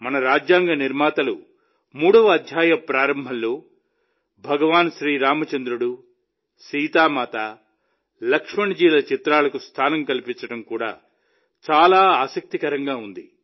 మన రాజ్యాంగ నిర్మాతలు మూడవ అధ్యాయం ప్రారంభంలో భగవాన్ శ్రీరామచంద్రుడు సీతామాత లక్ష్మణ్ జీల చిత్రాలకు స్థానం కల్పించడం చాలా ఆసక్తికరంగా ఉంది